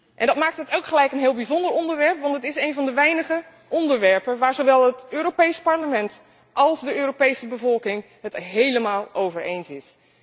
En dat maakt het ook meteen een heel bijzonder onderwerp, want het is één van de weinige onderwerpen waar zowel het Europees Parlement als de Europese bevolking het helemaal over eens zijn.